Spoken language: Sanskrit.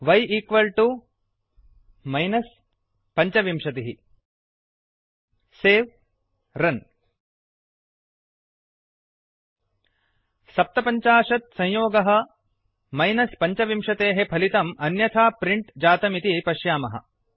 y 25 वै समं मैनस् पञ्चविंशतिः सेव् रन् 75 सप्तपञ्चाशत् संयोगः 25मैनस् पञ्चविंशतेः फलितम् अन्यथा प्रिण्ट् जातम् इति पश्यामः